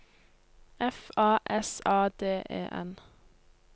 F A S A D E N